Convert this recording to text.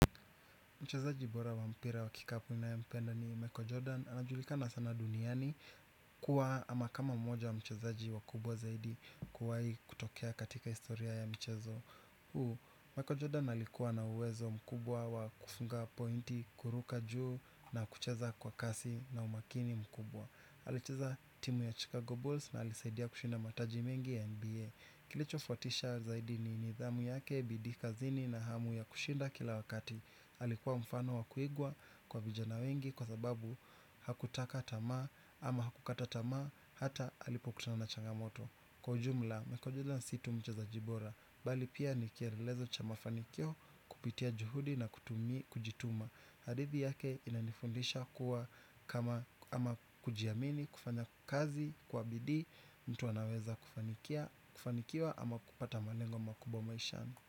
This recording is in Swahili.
Mchezaji bora wa mpira wa kikapu ninayempenda ni Michael Jordan, anajulika sana duniani kuwa ama kama mmoja wa mchezaji wakubwa zaidi kuwahi kutokea katika historia ya mchezo huu Michael Jordan alikuwa na uwezo mkubwa wa kufunga pointi kuruka juu na kucheza kwa kasi na umakini mkubwa. Alicheza timu ya Chicago Bulls na alisaidia kushinda mataji mengi ya NBA. Kilicho fuatisha zaidi ni nidhamu yake bidii kazini na hamu ya kushinda kila wakati alikuwa mfano wa kuigwa kwa vijana wengi kwa sababu hakutaka tamaa ama hakukata tamaa hata alipokutana na changamoto. Kwa jumla, Michael Jordan si tu mchezaji bora, bali pia ni kielelezo cha mafanikio kupitia juhudi na kutumi kujituma. Hadithi yake inanifundisha kuwa kama ama kujiamini kufanya kazi kwa bidii mtu anaweza kufanikia kufanikiwa ama kupata malengo makubwa maishani.